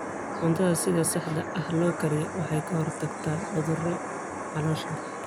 Cuntada sida saxda ah loo kariyey waxay ka hortagtaa cudurrada caloosha.